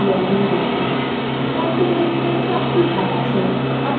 configuration চারটি ধাপ আছে